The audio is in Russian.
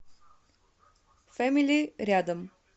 фэмили рядом